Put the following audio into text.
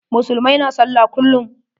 Musulmai na sallah kullum.